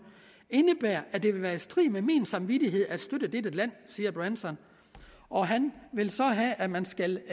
indebærer at det vil være i strid med min samvittighed at støtte dette land siger branson og han vil så have at man skal